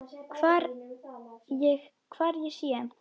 Hvar ég sé.